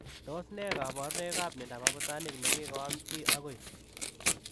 Tos nee kabarunoik ap miondoop abutanik nekikoam chii agoi?